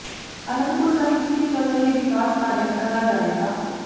ਆਨੰਦਪੁਰ ਸਾਹਿਬ ਵਿਖੇ ਚੱਲ ਰਹੇ ਵਿਕਾਸ ਪ੍ਰਾਜੈਕਟਾਂ ਦਾ ਜਾਇਜ਼ਾ